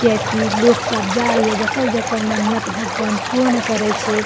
किया की लोग सब जाय ये जकर-जकर मन्नत भगवान पूर्ण करे छै।